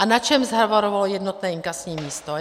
A na čem zhavarovalo jednotné inkasní místo?